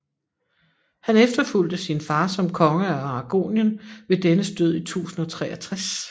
Han efterfulgte sin far som konge af Aragonien ved dennes død i 1063